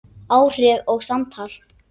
Áhrif og samtal